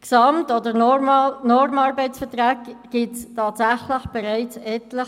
Gesamt- oder Normarbeitsverträge gibt es tatsächlich bereits etliche.